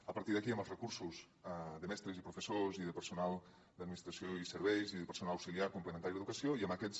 a partir d’aquí i amb els recursos de mestres i professors i de personal d’administració i serveis i de personal auxiliar complementari de l’educació i amb aquests